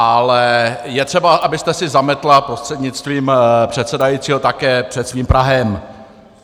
Ale je třeba, abyste si zametla prostřednictvím předsedajícího také před svým prahem.